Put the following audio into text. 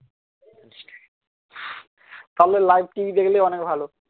তাহলে live TV দেখলেই অনেক ভালো